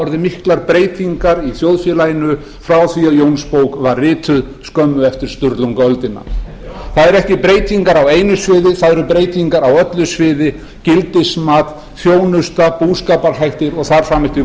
orðið miklar breytingar í þjóðfélaginu frá því að jónsbók var rituð skömmu eftir sturlungaöldina það eru ekki breytingar á einu sviði það eru breytingar á öllum sviðum gildismat þjónusta búskaparhættir og þar fram eftir